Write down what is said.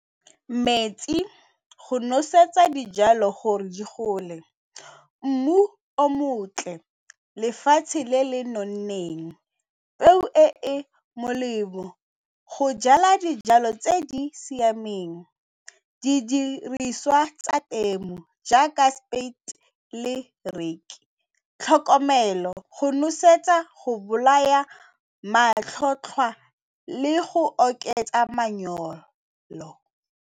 Metsi go nosetsa dijalo gore di gole, mmu o motle lefatshe le le nonneng, peo e e molemo go jala dijalo tse di siameng didiriswa tsa temo jaaka spade le tlhokomelo go nosetsa go bolaya matlhotlhwa le go oketsa manure.